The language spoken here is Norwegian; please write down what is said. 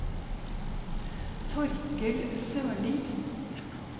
Torkel Sørlie